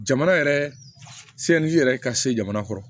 Jamana yɛrɛ yɛrɛ ka se jamana kɔnɔ